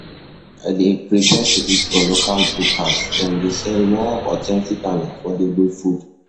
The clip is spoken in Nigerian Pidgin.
I dey prefer to eat for local bukas, dem dey sell more authentic and affordable food.